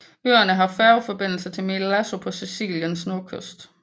Øerne har færgeforbindelse til Milazzo på Siciliens nordkyst